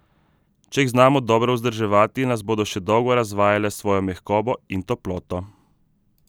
Če jih znamo dobro vzdrževati, nas bodo še dolgo razvajale s svojo mehkobo in toploto.